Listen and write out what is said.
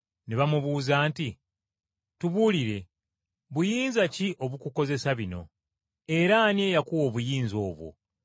Ne bamubuuza nti, “Tubuulire, buyinza ki obukukozesa bino? Era ani eyakuwa obuyinza obwo?”